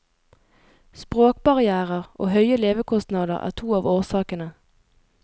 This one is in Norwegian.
Språkbarrièrer og høye levekostnader er to av årsakene.